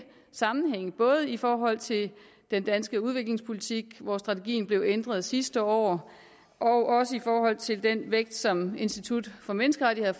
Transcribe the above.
sammenhænge både i forhold til den danske udviklingspolitik hvor strategien blev ændret sidste år og i forhold til den vægt som institut for menneskerettigheder